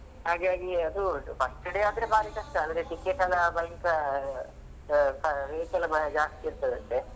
ಹಾಗಾಗಿ ಅದು first day ಆದ್ರೆ ಬಾರಿ ಕಷ್ಟ ಅದ್ರ ticket ಎಲ್ಲಾ ಭಯಂಕರ rate ಎಲ್ಲಾ ಬಾರಿ ಜಾಸ್ತಿ ಇರ್ತದಂತೆ.